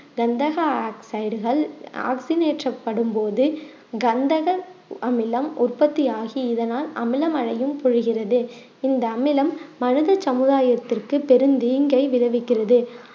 கந்தக ஆக்சைடுகள் ஆக்சின் ஏற்ற படும் போது கந்தக அமிலம் உற்பத்தியாகி இதனால் அமில மழையும் பொழிகிறது இந்த அமிலம் மனித சமுதாயத்திற்கு பெரும் தீங்கை விளைவிக்கிறது